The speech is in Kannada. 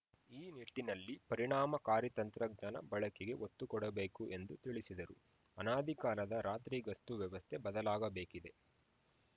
ಈ ನಿಟ್ಟಿನಲ್ಲಿ ಪರಿಣಾಮಕಾರಿ ತಂತ್ರಜ್ಞಾನ ಬಳಕೆಗೆ ಒತ್ತುಕೊಡಬೇಕು ಎಂದು ತಿಳಿಸಿದರು ಅನಾದಿ ಕಾಲದ ರಾತ್ರಿ ಗಸ್ತು ವ್ಯವಸ್ಥೆ ಬದಲಾಗಬೇಕಿದೆ